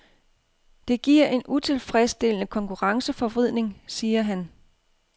Det giver en utilfredsstillende konkurrenceforvridning, siger han.